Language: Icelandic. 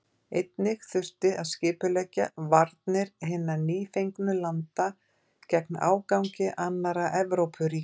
Einnig þurfti að skipuleggja varnir hinna nýfengnu landa gegn ágangi annarra Evrópuríkja.